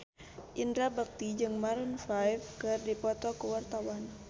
Indra Bekti jeung Maroon 5 keur dipoto ku wartawan